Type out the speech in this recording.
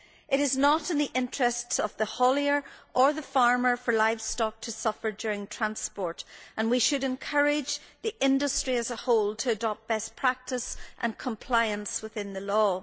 It is not in the interests of the haulier or the farmer for livestock to suffer during transport and we should encourage the industry as a whole to adopt best practice and compliance with the law.